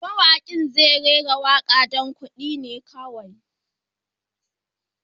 Mawaƙin zai rera waƙar don kuɗi kawai.